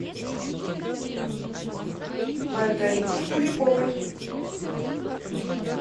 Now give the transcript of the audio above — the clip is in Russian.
маргарите куликовой